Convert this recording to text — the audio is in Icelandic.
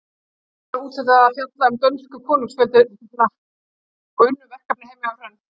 Okkur var úthlutað að fjalla um dönsku konungsfjölskylduna og unnum verkefnið heima hjá Hrönn.